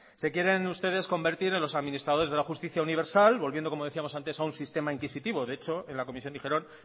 se quieren ustedes convertir en los administradores de la justicia universal volviendo como decíamos antes a un sistema inquisitivo de hecho en la comisión dijeron